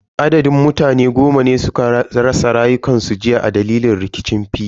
Adadin mutane goma ne suka rasa rayukansu jiya a dalilin rikicin fili.